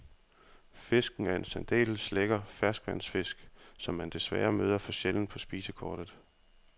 Fisken er en særdeles lækker ferskvandsfisk, som man desværre møder for sjældent på spisekortet.